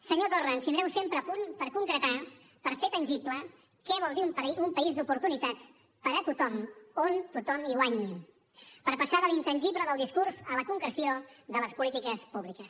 senyor torra ens tindreu sempre a punt per concretar per fer tangible què vol dir un país d’oportunitats per a tothom on tothom hi guanyi per passar de l’intangible del discurs a la concreció de les polítiques públiques